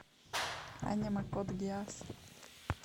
аниме код гиас